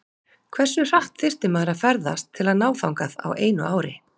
hversu hratt þyrfti maður að ferðast til að ná þangað á einu ári